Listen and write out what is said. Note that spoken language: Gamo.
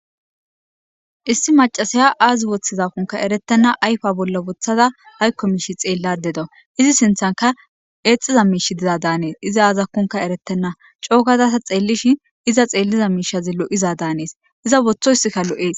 issi macasiya aazi woththizakkunka eretenna ayfa bolla wothada haykko miishi xeella dedo izi sinthanka eexxiza miish diza daanees iza aazakkonka eretenna coogazasa xeellishin iza xeelliza miishazi lo7iza daanees iza wothoyssikka lo7ees.